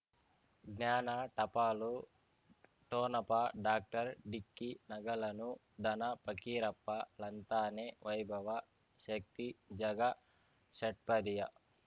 ಜ್ಞಾನ ಟಪಾಲು ಠೋಣಪ ಡಾಕ್ಟರ್ ಢಿಕ್ಕಿ ಣಗಳನು ಧನ ಫಕೀರಪ್ಪ ಳಂತಾನೆ ವೈಭವ ಶಕ್ತಿ ಝಗಾ ಷಟ್ಪದಿಯ